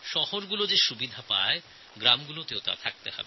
শহরে লভ্য সমস্ত সুবিধা গ্রামেও পাওয়া উচিত